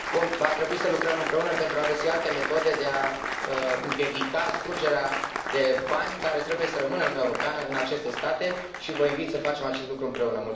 Va trebui să lucrăm împreună pentru a găsi alte metode de a împiedica scurgerea de bani care trebuie să rămână în Uniunea Europeană, în aceste state și vă invit să facem acest lucru împreună.